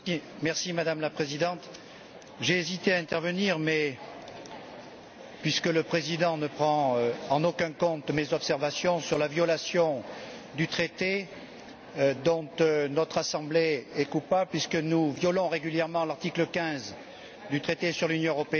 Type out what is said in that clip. Madame la Présidente, j'ai hésité à intervenir, mais, étant donné que le Président ne tient aucun compte de mes observations sur la violation du traité dont notre Assemblée est coupable puisque nous violons régulièrement l'article15 du traité sur l'Union européenne